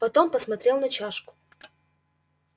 потом посмотрел на чашку